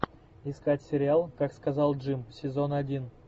искать сериал как сказал джим сезон один